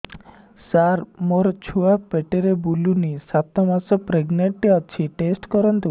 ସାର ମୋର ଛୁଆ ପେଟରେ ବୁଲୁନି ସାତ ମାସ ପ୍ରେଗନାଂଟ ଅଛି ଟେଷ୍ଟ କରନ୍ତୁ